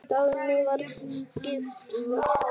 Dagný var gift Valtý.